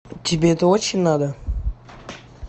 тебе это очень надо